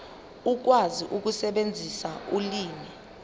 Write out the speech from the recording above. ukwazi ukusebenzisa ulimi